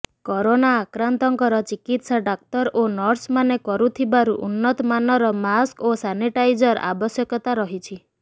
corona ଆକ୍ରାନ୍ତଙ୍କର ଚିକିତ୍ସା ଡାକ୍ତର ଓ ନର୍ସମାନେ କରୁଥିବାରୁ ଉନ୍ନତ ମାନର ମାସ୍କ ଓ ସାନିଟାଇଜର ଆବଶ୍ୟକତା ରହିଛି